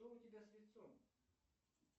что у тебя с лицом